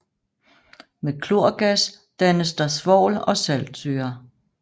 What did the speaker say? Med klorgas dannes der svovl og saltsyre